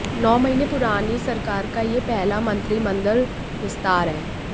नौ महीने पुरानी इस सरकार का यह पहला मंत्रिमंडल विस्तार है